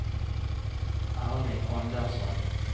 Erling Andersson